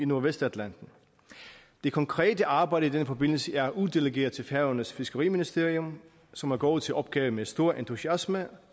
nordvestatlanten det konkrete arbejde i den forbindelse er uddelegeret til færøernes fiskeriministerium som er gået til opgaven med stor entusiasme